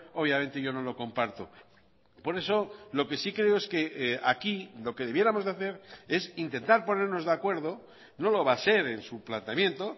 obviamente yo no lo comparto por eso lo que sí creo es que aquí lo que debiéramos de hacer es intentar ponernos de acuerdo no lo va a ser en su planteamiento